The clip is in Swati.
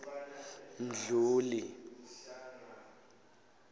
mdluli